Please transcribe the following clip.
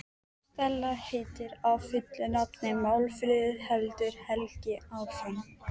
Stella heitir fullu nafni Málfríður, heldur Helgi áfram.